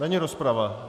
Není rozprava.